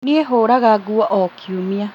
Niĩ hũraga nguo o kiumia